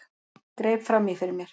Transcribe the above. Greip fram í fyrir mér.